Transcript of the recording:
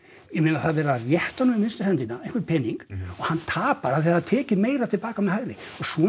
ég meina það er verið að rétta honum vinstri höndina einhvern pening og hann tapar af því að það er tekið meira til baka með hægri og svona